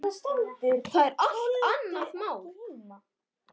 Það er allt annað mál.